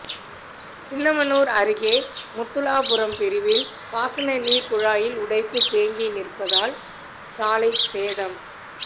சின்னமனூர் அருகே முத்துலாபுரம் பிரிவில் பாசனநீர் குழாயில் உடைப்பு தேங்கி நிற்பதால் சாலை சேதம்